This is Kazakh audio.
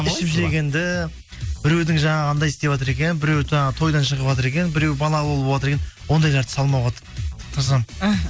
ішіп жегенді біреудің жаңағы андай істеватыр екен біреу жаңағы тойдан шығыватыр екен біреу балалы болыватыр екен ондайларды салмауға тырысамын іхі